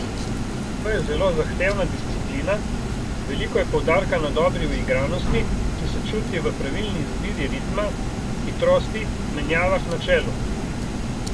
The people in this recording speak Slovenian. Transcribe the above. To je zelo zahtevna disciplina, veliko je poudarka na dobri uigranosti, ki se čuti v pravilni izbiri ritma, hitrosti, menjavah na čelu.